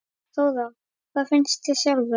Þóra: Hvað finnst þér sjálfum?